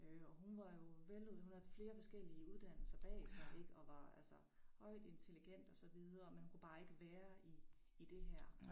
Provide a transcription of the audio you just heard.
Øh og hun var jo hun havde flere forskellige uddannelser bag sig ik og var altså højt intelligent og så videre men hun kunne bare ikke være i i det her